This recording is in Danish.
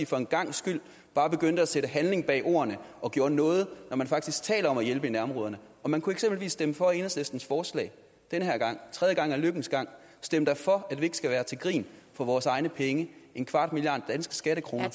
for en gangs skyld bare begyndte at sætte handling bag ordene og gjorde noget når man faktisk taler om at hjælpe i nærområderne man kunne eksempelvis stemme for enhedslistens forslag den her gang tredje gang er lykkens gang stem da for at vi ikke skal være til grin for vores egne penge en kvart milliard danske skattekroner